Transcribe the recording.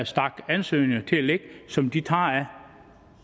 stak ansøgninger liggende som de tager